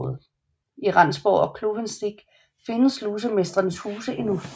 I Rendsborg og Kluvensik findes slusemestrenes huse endnu